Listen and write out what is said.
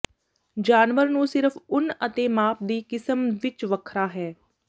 ਜਾਨਵਰ ਨੂੰ ਸਿਰਫ ਉੱਨ ਅਤੇ ਮਾਪ ਦੀ ਕਿਸਮ ਵਿੱਚ ਵੱਖਰਾ ਹੈ